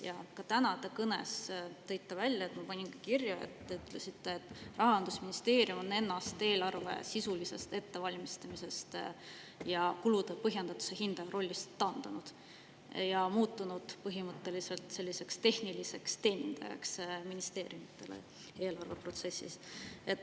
Ka oma tänases kõnes te ütlesite – ma panin selle ka kirja –, et Rahandusministeerium on ennast eelarve sisulisest ettevalmistamisest ja kulude põhjendatuse hindaja rollist taandanud ning muutunud põhimõtteliselt ministeeriumide tehniliseks teenindajaks eelarveprotsessis.